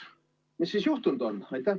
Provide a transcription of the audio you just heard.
Mis siis juhtunud on?